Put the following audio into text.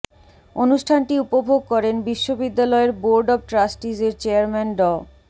অনুষ্ঠানটি উপভোগ করেন বিশ্ববিদ্যালয়ের বোর্ড অব ট্রাস্টিজের চেয়ারম্যান ড